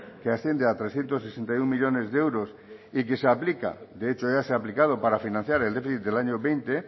diecinueve que asciende a trescientos sesenta y uno millónes de euros y que se aplica de hecho ya se ha aplicado para financiar el déficit del año